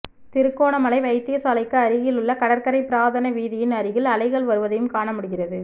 திருகோணமலை வைத்தியசாலைக்கு அருகில் உள்ள கடற்கரை பிரதான வீதியின் அருகில் அலைகள் வருவதையும் காண முடிகிறது